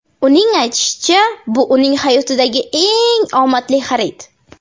Uning aytishicha, bu uning hayotidagi eng omadli xarid.